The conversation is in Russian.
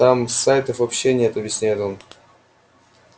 там сайтов вообще нет объясняет он